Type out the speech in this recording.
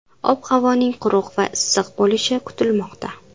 Ob-havoning quruq va issiq bo‘lishi kutilmoqda.